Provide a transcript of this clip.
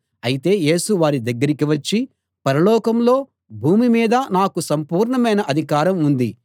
అయితే యేసు వారి దగ్గరికి వచ్చి పరలోకంలో భూమి మీదా నాకు సంపూర్ణమైన అధికారం ఉంది